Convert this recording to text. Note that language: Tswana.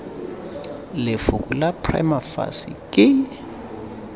lefoko la prima facie ke